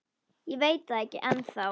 Ég veit það ekki ennþá.